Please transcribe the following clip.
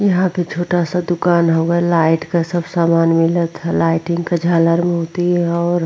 यहाँ पे छोटा सा दुकान होगा लाइट का सब सामान मिलत है लाइटिंग का झालर मिलती है और --